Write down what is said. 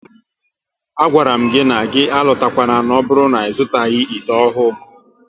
A gwara m gị na gị alotakwana n'oburu na-izutaghi ite ahụ!